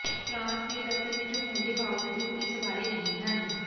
France ਦੇ ਦਫਤਰ ਵਿਚ ਹੋਣ ਦੇ ਬਾਵਜੂਦ ਉਹ ਇਸ ਬਾਰੇ ਨਹੀਂ ਹਨ